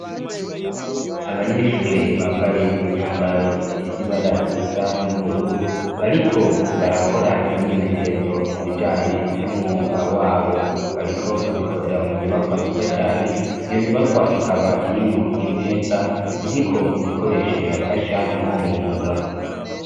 Abanyeshure bambaye imyambaro ifise ibara risa n'ubururu bariko barakora imyimenyerezo mu bijanye n'umwuga wabo. Bariko babikorera mu nyubakwa nziza cane, iyo nyubakwa ikaba irimwo imeza ziriko ibikoresho bibafasha mw'uwo mwuga.